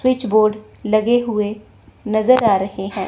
Switch board लगे हुए नजर आ रहे हैं।